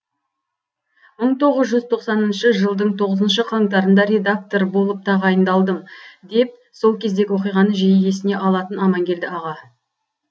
мың тоғыз жүз тоқсаныншы жылдың тоғызыншы қаңтарында редактор болып тағайындалдым деп сол кездегі оқиғаны жиі есіне алатын аманкелді аға